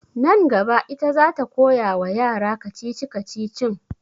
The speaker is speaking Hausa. Nan gaba ita za ta koya wa yara kacici-kacicin